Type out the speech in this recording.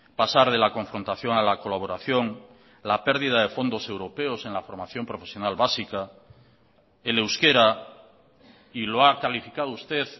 pasar de la confrontación a la colaboración la pérdida de fondos europeos en la formación profesional básica el euskera y lo ha calificado usted